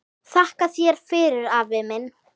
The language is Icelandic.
Þakka þér fyrir, afi minn.